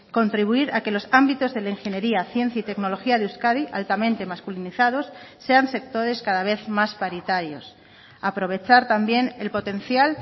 contribuir a que los ámbitos de la ingeniería ciencia y tecnología de euskadi altamente masculinizados sean sectores cada vez más paritarios aprovechar también el potencial